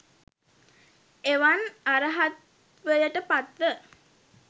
එවන් අර්හත්වයට පත්ව